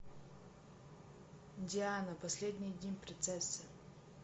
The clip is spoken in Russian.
диана последние дни принцессы